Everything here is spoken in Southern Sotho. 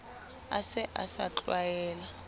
a se a sa tlwaela